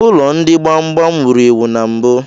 Ụlọ ndị gbam gbam wuru ewu na mbụ.